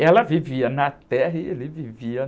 Ela vivia na terra e ele vivia...